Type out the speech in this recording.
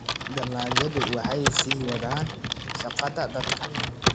dalagyadu waxay sii wadaan shaqada dadka.